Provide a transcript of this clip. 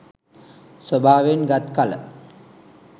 ස්වභාවයෙන් ගත් කළ